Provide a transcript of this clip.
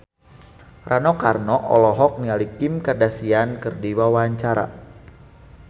Rano Karno olohok ningali Kim Kardashian keur diwawancara